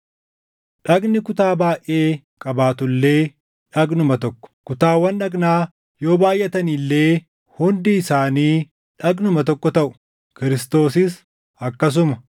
Dhagni kutaa baayʼee qabaatu illee dhagnuma tokko; kutaawwan dhagnaa yoo baayʼatani illee hundi isaanii dhagnuma tokko taʼu. Kiristoosis akkasuma.